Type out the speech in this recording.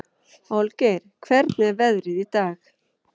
Olgeir, hvernig er veðrið í dag?